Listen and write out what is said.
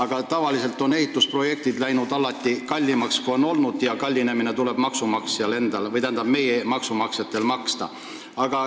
Ja tavaliselt on ehitusprojektid arvatust kallimaks läinud ja see kallinemine tuleb kinni maksta meie maksumaksjal.